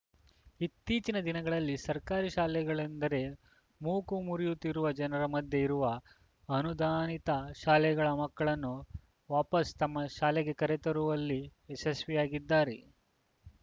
ಇತ್ತೀಚಿನ ದಿನಗಳಲ್ಲಿ ಸರ್ಕಾರಿ ಶಾಲೆಗಳೆಂದರೆ ಮೂಗು ಮುರಿಯುತ್ತಿರುವ ಜನರ ಮಧ್ಯೆ ಇವರು ಅನುದಾನಿತ ಶಾಲೆಗಳ ಮಕ್ಕಳನ್ನು ವಾಪಸ್‌ ತಮ್ಮ ಶಾಲೆಗೆ ಕರೆತರುವಲ್ಲಿ ಯಶಸ್ವಿಯಾಗಿದ್ದಾರೆ